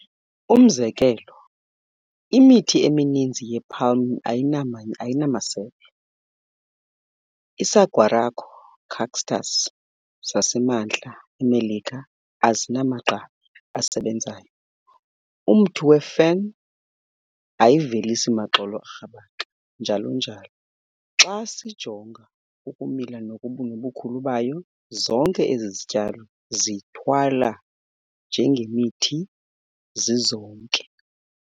Umzekelo, imithi emininzi ye-palm ayinamasebe, isaguaro cactus zaseMantla eMelika azinamagqabi asebenzayo, umthi wee-"fern" ayivelisi maxolo arhabaxa, njalo njalo. Xa sijonga ukumila nobukhulu bayo, zonke ezi zityalo zithwala njengemithi xa zizonke.